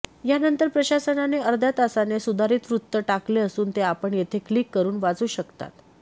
यानंतर प्रशासनाने अर्ध्या तासाने सुधारित वृत्त टाकले असून ते आपण येथे क्लिक करून वाचू शकतात